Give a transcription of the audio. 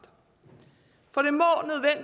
for